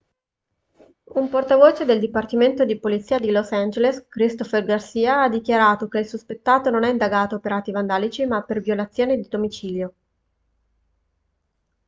un portavoce del dipartimento di polizia di los angeles christopher garcia ha dichiarato che il sospettato non è indagato per atti vandalici ma per violazione di domicilio